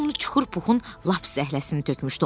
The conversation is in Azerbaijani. Bu qumlu çuxur Puhun lap zəhləsini tökmüşdü.